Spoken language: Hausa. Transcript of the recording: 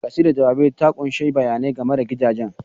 Kasidar jawaban ta ƙunshi bayanai game da gidajen.